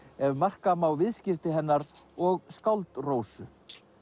ef marka má viðskipti hennar og skáld Rósu